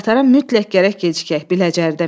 Qatara mütləq gərək gecikək, Biləcəridə minək.